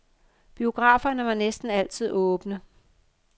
Biograferne var næsten altid åbne.